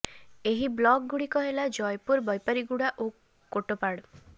ଏହି ବ୍ଲକ ଗୁଡ଼ିକ ହେଲା ଜୟପୁର ବୈପାରୀଗୁଡ଼ା ଓ କୋଟପାଡ଼